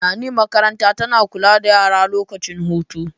Nani makaranta tana kula da yara lokacin hutu